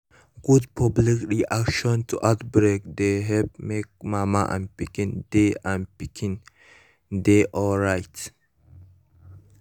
good public reaction to outbreak dey help make mama and pikin dey and pikin dey alright